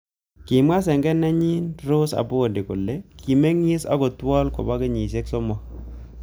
Kimwa senge nenyi Rose Apondi kole kimingis ak Othuol kobo kenyishek somok